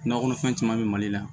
Nakɔ kɔnɔfɛn caman bɛ mali la